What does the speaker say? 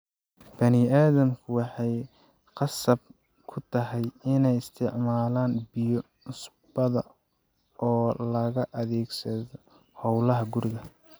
Bani'aadamku waxay khasab ku tahay inay isticmaalaan biyo cusbada oo loo adeegsado howlaha guriga.